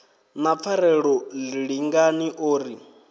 na pfarelo lingani o ri